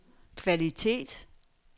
kvalitet